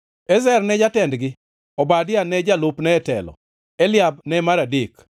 Ezer ne jatendgi, Obadia ne jalupne e telo, Eliab ne mar adek,